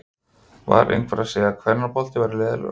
Var einhver að segja að kvennafótbolti væri leiðinlegur?